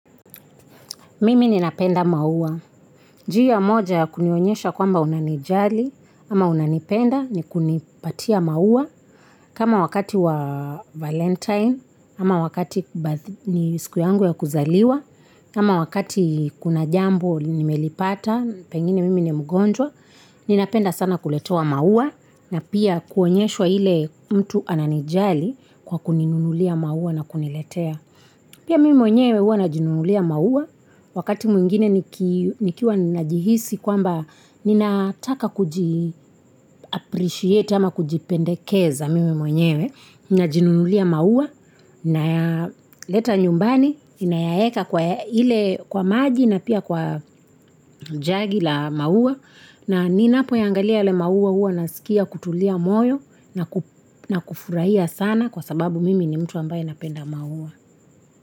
Mimi ninapenda maua, njia moja ya kunionyesha kwamba unanijali ama unanipenda ni kunipatia maua kama wakati wa valentine kama wakati ni siku yangu ya kuzaliwa kama wakati kuna jambo limelipata pengine mimi ni mugonjwa ninapenda sana kuletewa maua na pia kuonyeshwa ile mtu ananijali kwa kuninunulia maua na kuniletea pia mimi mwenyewe huwa najinunulia maua wakati mwingine nikiwa najihisi kwamba ninataka kuji appreciate ama kujipendekeza mimi mwenyewe najinunulia maua nayaleta nyumbani nayaweka kwa maji na pia kwa jagi la maua na ninapoyaangalia yale maua hua nasikia kutulia moyo na kufurahia sana kwa sababu mimi ni mtu ambaye napenda maua.